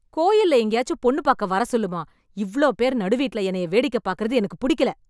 கோயில்ல எங்கேயாச்சு பொண்ணு பாக்க வர சொல்லுமா, இவ்ளோ பேர் நடு வீட்ல என்னய வேடிக்கை பாக்றது எனக்குப் புடிக்கல.